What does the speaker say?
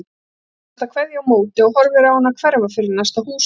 Hann kastar kveðju á móti og horfir á hana hverfa fyrir næsta húshorn.